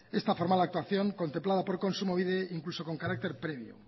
esta formal actuación contemplada por kontsumobide incluso con carácter previo